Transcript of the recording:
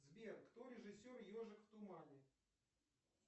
сбер кто режиссер ежик в тумане